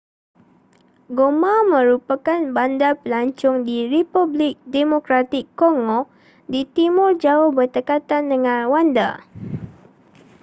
goma merupakan bandar pelancong di republik demokratik congo di timur jauh berdekatan dengan rwanda